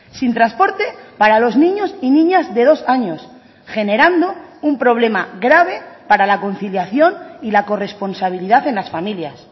sin transporte para los niños y niñas de dos años generando un problema grave para la conciliación y la corresponsabilidad en las familias